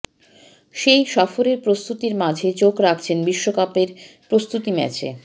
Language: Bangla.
সেই সফরের প্রস্তুতির মাঝে চোখ রাখছেন বিশ্বকাপের প্রস্তুতি ম্যাচে